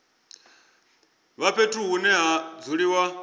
vha fhethu hune ha dzuliwa